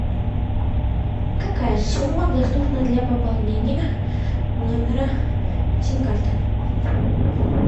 какая сумма доступна для пополнения номера сим карты